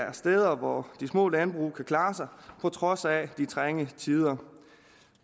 er steder hvor de små landbrug kan klare sig på trods af de trange tider